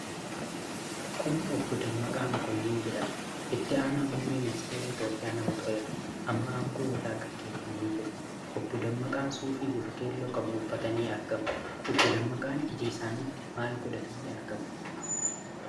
Kun Obbo Dammaqaa Mokonniin jedhama. Itti Aanaa Muummee Ministeeraa Itoophiyaa nama tureedha. Amma aangoo irraa gaggeeffamaniii jiru. Obbo Dammaqaan suufii bifa keelloo qabu uffatanii argamu. Obbo Dammaqaan ija isaanitti maal godhatanii argamu?